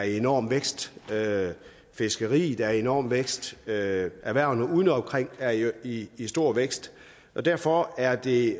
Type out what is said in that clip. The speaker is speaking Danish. enorm vækst fiskeriet er i enorm vækst erhvervene udeomkring er i stor vækst og derfor er det